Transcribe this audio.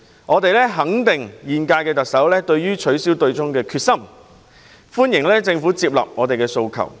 我們肯定現屆特首取消對沖機制的決心，亦歡迎政府接納我們的訴求。